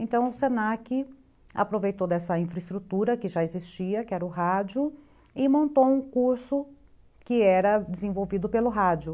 Então o se na que aproveitou dessa infraestrutura que já existia, que era o rádio, e montou um curso que era desenvolvido pelo rádio.